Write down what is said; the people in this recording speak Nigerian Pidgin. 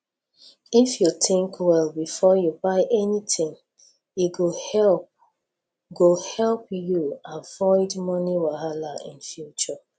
if you think well before you buy anything e go help go help you avoid moni wahala for future